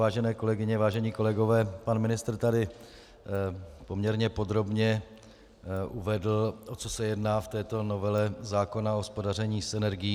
Vážené kolegyně, vážení kolegové, pan ministr tady poměrně podrobně uvedl, o co se jedná v této novele zákona o hospodaření s energií.